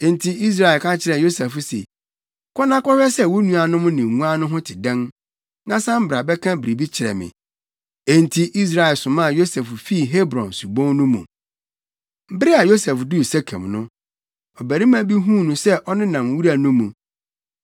Enti Israel ka kyerɛɛ Yosef se, “Kɔ na kɔhwɛ sɛ wo nuanom ne nguan no ho te dɛn, na san bɛka biribi kyerɛ me.” Enti Israel somaa Yosef fii Hebron subon no mu. Bere a Yosef duu Sekem no,